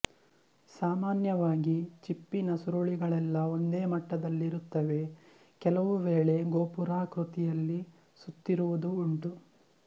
ಸಾಮಾನ್ಯವಾಗಿ ಚಿಪ್ಪಿನ ಸುರುಳಿಗಳೆಲ್ಲ ಒಂದೇ ಮಟ್ಟದಲ್ಲಿರುತ್ತವೆ ಕೆಲವು ವೇಳೆ ಗೋಪುರಾಕೃತಿಯಲ್ಲಿ ಸುತ್ತಿರುವುದೂ ಉಂಟು